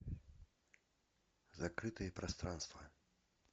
закрытые пространства